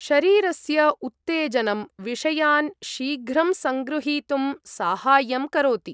शरीरस्य उत्तेजनं, विषयान् शीघ्रं सङ्गृहीतुं साहाय्यं करोति।